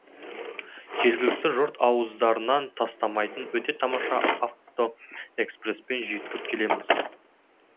жергілікті жұрт ауыздарынан тастамайтын өте тамаша автоэкспреспен жүйткіп келеміз